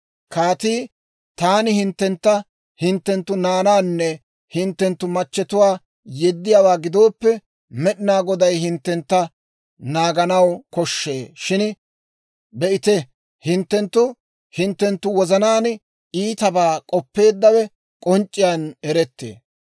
Kaatii, «Taani hinttentta hinttenttu naanaanne hinttenttu machchetuwaa yeddiyaawaa gidooppe, Med'inaa Goday hinttentta naaganaw koshshee. Shin be'ite; hinttenttu hinttenttu wozanaan iitabaa k'oppeeddawe k'onc'c'iyaan erettee.